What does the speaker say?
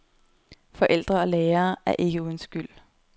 Forældre og lærere er ikke uden skyld.